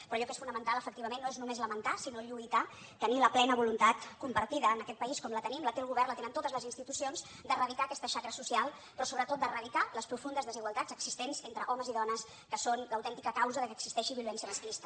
però allò que és fonamental efectivament no és només lamentar sinó lluitar tenir la plena voluntat compartida en aquest país com la tenim la té el govern la tenen totes les institucions d’eradicar aquesta xacra social però sobretot d’eradicar les profundes desigualtats existents entre homes i dones que són l’autèntica causa que existeixi violència masclista